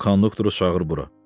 O konduktoru çağır bura.